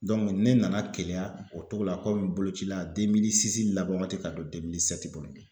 ne nana keleya o togo la boloci la laban waati ka don kɔnɔ.